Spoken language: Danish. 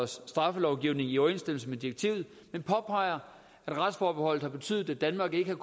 straffelovgivning i overensstemmelse med direktivet men påpeger at retsforbeholdet har betydet at danmark ikke har